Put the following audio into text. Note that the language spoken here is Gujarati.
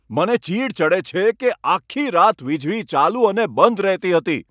મને ચીડ ચડે છે કે આખી રાત વીજળી ચાલુ અને બંધ રહેતી હતી.